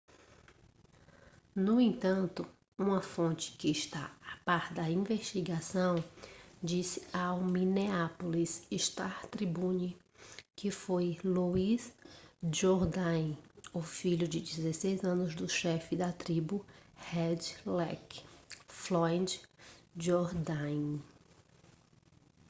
no entanto uma fonte que está a par da investigação disse ao minneapolis star-tribune que foi louis jourdain o filho de 16 anos do chefe da tribo red lake floyd jourdain